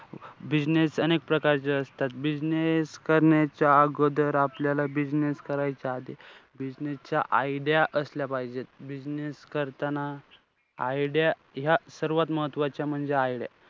Business अनेक प्रकारचे असतात. Business करण्याच्या अगोदर आपल्याला business करायच्या आधी, business च्या idea असल्या पाहिजेत. Business करताना idea या सर्वात महत्वाच्या म्हणजे, idea.